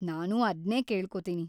ನಾನೂ ಅದ್ನೇ ಕೇಳ್ಕೊತೀನಿ.